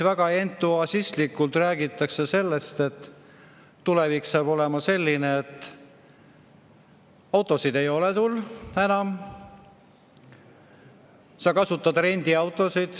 Väga entusiastlikult räägitakse sellest, et tulevik saab olema selline, et autosid sul enam ei ole, sa kasutad rendiautosid.